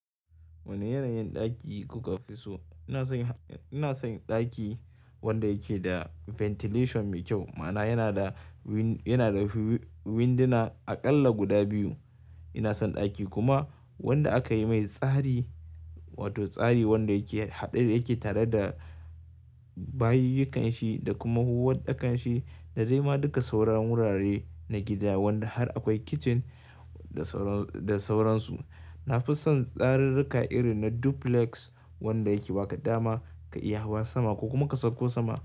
Wane yanayin ɗaki kuka fi so? Ina son ɗaki wanda yake da ventilation mai kyau ma'ana yana da wind, yana da winduna aƙalla guda biyu. Ina son ɗaki kuma wanda aka yi mai tsari, wato tsari wanda yake haɗe yake tare da bayiyukan shi da kuma huhuwan ɗakan shi da dai ma duka sauran wurare na gida wanda har akwai kitchen da sauran, da sauransu. Na fi son tsarurruka irin na duplex wanda yake ba ka dama ka iya hawa sama ko kuma ka sauko sama.